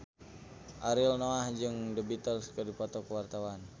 Ariel Noah jeung The Beatles keur dipoto ku wartawan